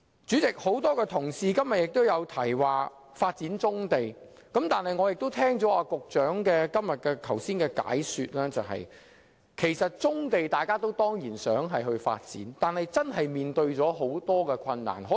主席，今天有很多同事也提到發展棕地，但聽罷局長剛才的解說，我明白大家固然想發展棕地，但實行起來的確困難重重。